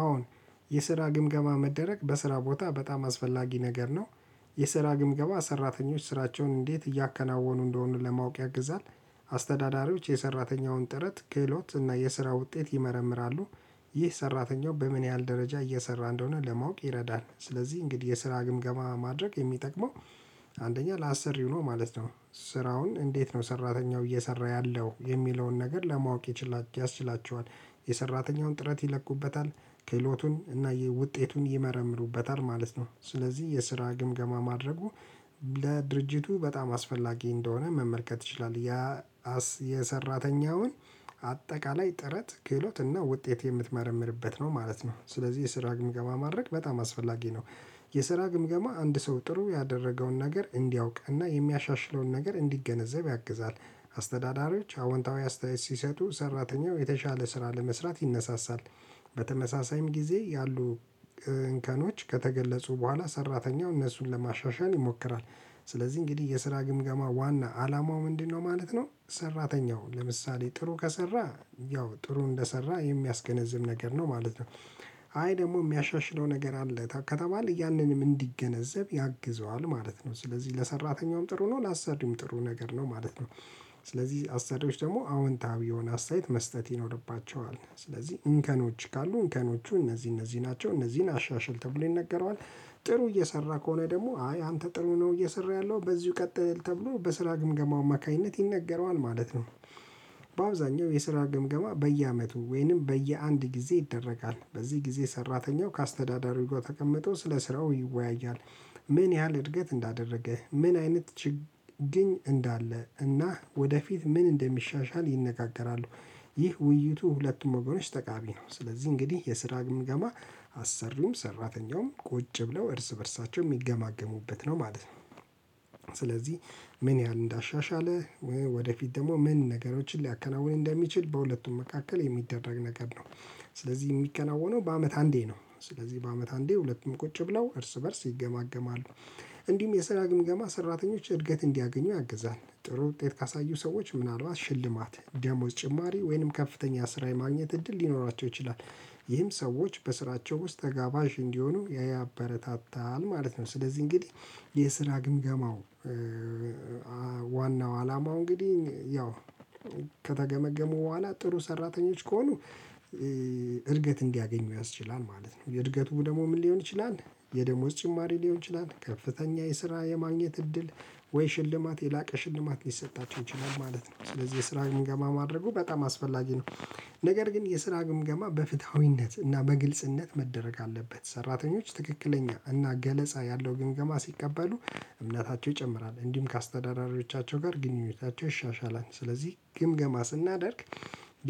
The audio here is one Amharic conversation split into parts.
አሁን የስራ ግምገማ መደረግ በስራ ቦታ በጣም አስፈላጊ ነገር ነው። የስራ ግምገማ ሰራተኞች ስራቸውን እንዴት እያከናወኑ እንደሆኑ ለማወቅ ያግዛል። አስተዳዳሪዎች የሰራተኛውን ጥረት ክህሎት እና የስራ ውጤት ይመረምራሉ። ይህ ሰራተኛው በምን ያህል ደረጃ እየሰራ እንደሆነ ለማወቅ ይረዳል። ስለዚህ እንግዲህ የስራ ግምገማ ማድረግ የሚጠቅመው አንደኛ ለአሰሪው ነው ማለት ነው። ስራውን እንዴት ነው ሰራተኛው እየሰራ ያለው የሚለውን ነገር ለማወቅ ያስችላቸዋል። የሰራተኛውን ጥረት ይለቁበታል ክህሎቱን እና ውጤቱን ይመረምሩበታል ማለት ነው። ስለዚህ የስራ ግምገማ ማድረጉ ለድርጅቱ በጣም አስፈላጊ እንደሆነ መመልከት ይችላል። የሰራተኛውን አጠቃላይ ጥረት ክህሎት እና ውጤት የምትመረምርበት ነው ማለት ነው። ስለዚህ የስራ ግምገማ ማድረግ በጣም አስፈላጊ ነው። የስራ ግምገማ አንድ ሰው ጥሩ ያደረገውን ነገር እንዲያውቅና የሚያሻሽለውን ነገር እንዲገነዘብ ያግዛል። አስተዳዳሪዎች አዎንታዊ አስተያየት ሲሰጡ ሰራተኛው የተሻለ ስራ ለመስራት ይነሳሳል። በተመሳሳይም ጊዜ ያሉ እንከኖች ከተገለጹ በኋላ ሰራተኛው እነሱን ለማሻሻል ይሞክራል። ስለዚህ እንግዲህ የስራ ግምገማ ዋና አላማው ምንድነው ማለት ነው? ሰራተኛው ለምሳሌ ጥሩ ከሰራ ያው ጥሩ እንደሰራ የሚያስገነዝብ ነገር ነው ማለት ነው። አይ ደግሞ የሚያሻሽለው ነገር አለ ከተባለ ያንንም እንዲገነዘብ ያግዘዋል ማለት ነው። ስለዚህ ለሰራተኛውም ጥሩ ነው ለአሳድም ጥሩ ነገር ነው ማለት ነው። አስሪዎች ደግሞ አዎንታዊ የሆነ አስተያየት መስጠት ይኖርባቸዋል ስለዚህ እንከኖች ካሉ እንከኖቹ እነዚህ እነዚህ ናቸው እነዚህን አሻሽል ተብሎ ይነገረዋል። ጥሩ እየሰራ ከሆነ ደግሞ አይ አንተ ጥሩ ነው እየሰራህ ያለው በዚሁ ቀጥል ተብሎ በስራ ግምገማው አማካኝነት ይነገረዋል ማለት ነው። በአብዛኛው የስራ ግምገማ በየአመቱ ወይንም በየአንድ ጊዜ ይደረጋል በዚህ ጊዜ ሰራተኛው ከአስተዳዳሪው ጋር ተቀምጦ ስለ ስራው ይወያያል። ምን ያህል እድገት እንዳደረገ ምን አይነት ችግር እንዳለ እና ወደፊት ምን እንደሚሻሻል ይነጋገራሉ። ይህ ውይይቱ ሁለቱም እኮ ነው ጠቃሚ ነው። ስለዚህ እንግዲህ የስራ ገማ አሰሪም ሰራተኛውም ቁጭ ብለው እርስ በእርሳቸው የሚገማገሙበት ነው ማለት ነው። ስለዚህ ምን ያህል እንዳሻሻለ ወደፊት ደግሞ ምን ነገሮችን ሊያከናውን እንደሚችል በሁለቱም መካከል የሚደረግ ነገር ነው። ስለዚህ የሚከናወነው በአመት አንዴ ነው። ስለዚህ በአመት አንዴ ሁለቱም ቁጭ ብለው እርስ በእርስ ይገማገማሉ። እንዲሁም የሰራ ግምገማ ሰራተኞች እድገት እንዲያገኙ ያግዛል ጥሩ ውጤት ካሳዩ ሰዎች ምናልባት ሽልማት ደሞዝ ጭማሪ ወይንም ከፍተኛ ስራ የማግኘት እድል ሊኖራቸው ይችላል። ይህም ሰዎች በስራቸው ውስጥ ተጋባዥ እንዲሆኑ ያበረታታል ማለት ነው። ስለዚህ እንግዲህ የስራ ግምገማው ዋናው አላማው እንግዲህ ያው ከተገመገሙ በኋላ ጥሩ ሰራተኞች ከሆኑ እድገት እንዲያገኙ ያስችላል ማለት ነው። እድገቱ ደግሞ ምን ሊሆን ይችላል? የደሞዝ ጭማሪ ሊሆን ይችላል ከፍተኛ የስራ የማግኘት እድል ወይ ሽልማት የላቀ ሽልማት ሊሰጣቸው ይችላል ማለት ነው። ስለዚህ የስራ ግምገማ ማድረጉ በጣም አስፈላጊ ነው። ነገር ግን የስራ ግምገማ በፍትሃዊነት እና በግልጽነት መደረግ አለበት ሰራተኞች ትክክለኛ እና ገለጻ ያለው ግምገማ ሲቀበሉ እምነታቸው ይጨምራል እንዲሁም ከአስተዳዳሪዎቻቸው ጋር ግንኙነታቸው ይሻሻላል። ስለዚህ ግምገማ ስናደርግ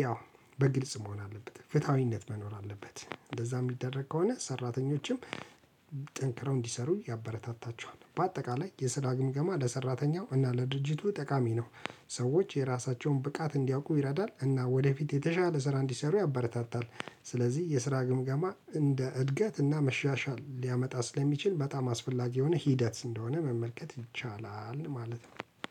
ያው በግልጽ መሆን አለበት ፍትሃዊነት መኖር አለበት። እንደዛ የሚደረግ ከሆነ ሰራተኞችም ጠንክረው እንዲሰሩ ያበረታታቸዋል። በአጠቃላይ የስራ ግምገማ ለሰራተኛው እና ለድርጅቱ ጠቃሚ ነው። ሰዎች የራሳቸውን ብቃት እንዲያውቁ ይረዳል እና ወደፊት የተሻለ ስራ እንዲሰሩ ያበረታታል። ስለዚህ የስራ ግምገማ እንደ እድገት እና መሻሻል ሊያመጣ ስለሚችል በጣም አስፈላጊ የሆነ ሂደት እንደሆነ መመልከት ይቻላል